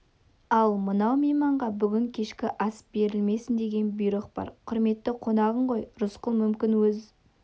ал анау мейманға бүгін кешкі ас берілмесін деген бұйрық бар құрметті қонағың ғой рысқұл мүмкін өз